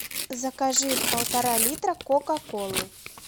закажи полтора литра кока колы